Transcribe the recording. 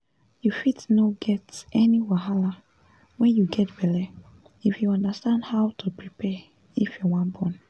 you fit no get any wahala wen u get belle if you understand how to prepare if you wan born